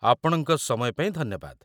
ଆପଣଙ୍କ ସମୟ ପାଇଁ ଧନ୍ୟବାଦ ।